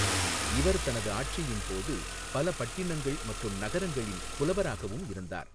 இவர் தனது ஆட்சியின் போது பல பட்டிணங்கள் மற்றும் நகரங்களின் புலவராகவும் இருந்தார்.